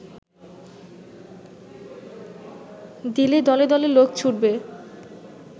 দিলে দলে দলে লোক ছুটবে